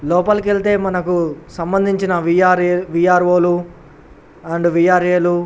లోపలికి వెళ్తే మనకు సంభందించిన వీ ఆర్ ఏ వీఆర్వో లు అండ్ వీఆర్యే లు --